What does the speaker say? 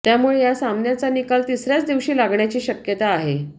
त्यामुळे या सामन्याचा निकाल तिसऱ्याच दिवशी लागण्याची शक्यता आहे